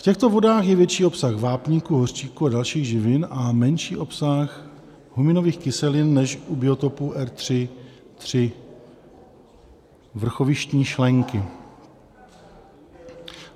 V těchto vodách je větší obsah vápníku, hořčíku a dalších živin a menší obsah huminových kyselin než u biotopu R3.3 Vrchovištní šlenky.